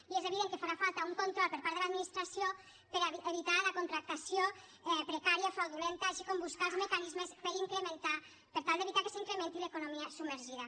i és evident que farà falta un control per part de l’administració per evitar la contractació precària fraudulenta així com buscar els mecanismes per tal d’evitar que s’incrementi l’economia submergida